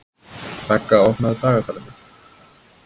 Begga, opnaðu dagatalið mitt.